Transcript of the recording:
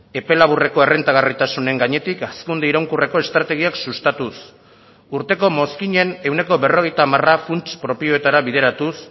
epe laburreko errentagarritasunen gainetik hazkunde iraunkorreko estrategiak sustatuz urteko mozkinen ehuneko berrogeita hamara funts propioetara bideratuz